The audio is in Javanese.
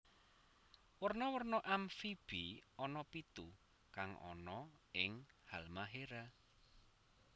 Werna werna Amphibi ana pitu kang ana ing Halmahera